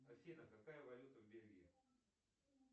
афина какая валюта в бельгии